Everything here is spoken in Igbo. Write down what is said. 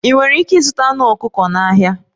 Ị nwere ike ịzụta anụ ọkụkọ na ahịa